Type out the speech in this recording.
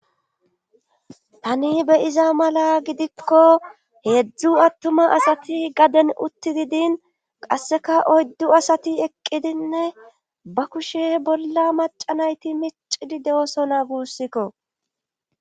Tani beyiza mala gidikko heedzdzu attuma asati gaden uttigidin qasseka oyddu asati eqqidinne ba kushe bolla macanayti miccidi de'osona guussikko.